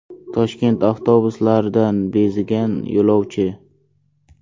Toshkent avtobuslaridan bezigan yo‘lovchi.